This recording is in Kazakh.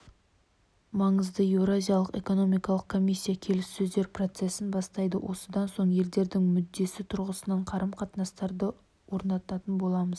маңызды еуразиялық экономикалық комиссия келіссөздер процесін бастайды осыдан соң елдердің мүддесі тұрғысынан қарым-қатынастарды орнататын боламыз